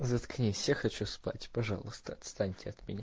заткнись я хочу спать пожалуйста отстаньте от меня